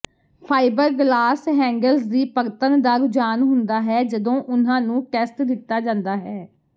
fibreglass handles ਦੀ ਪਰਤਣ ਦਾ ਰੁਝਾਨ ਹੁੰਦਾ ਹੈ ਜਦੋਂ ਉਨ੍ਹਾਂ ਨੂੰ ਟੈਸਟ ਦਿੱਤਾ ਜਾਂਦਾ ਹੈ